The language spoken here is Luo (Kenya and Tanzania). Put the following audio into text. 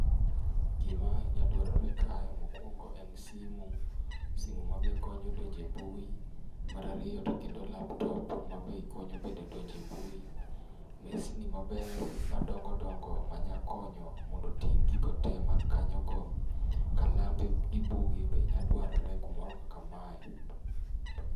Gima nyalo dwarore kae mokuongo en simu, simu ma be konyo donjo e mbui, mar ariyo to kendo laptop ma be konyo bende donjo e mbui. Mesni maber madongo dongo manya konyo mondo oting' gigo te man kanyogo. Kalambe gi buge be nyalo dwarore kumoro kaka mae.